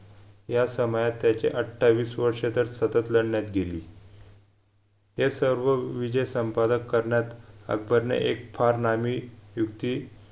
या समयात त्याचे अठावीस वर्ष तर सतत लढण्यात गेली हे सर्व विजय संपादक करण्यात अकबर ने एक फार नामी युक्ती